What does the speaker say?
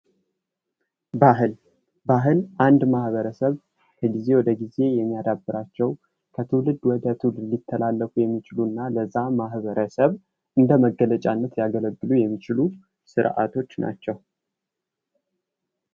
ባህል ፡-ባህል አንድ ማህበረሰብ ከጊዜ ወደ ጊዜ የሚያደብራቸው ከትውልድ ወደ ትውልድ ሊተላለፉ የሚችሉ እና ለዛ ማህበረሰብ እንደ መገጫነት ሊያገለግሉ የሚችሉ ስርዓቶች ናቸው።